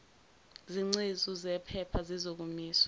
zingcezu zephepha zizokomiswa